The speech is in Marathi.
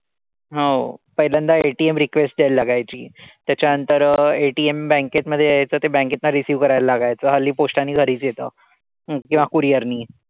हो पहिल्यांदा ATM request द्यायला लागायची. त्याच्या नंतर ATMbank मध्ये यायचं. ते bank तनं receive करायला लागायचं. हल्ली post नी घरीच येतं किंवा courier नी.